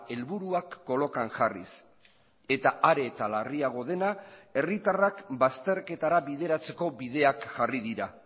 helburuak kolokan jarriz eta are eta larriago dena herritarrak bazterketara bideratzeko bideak jarri dira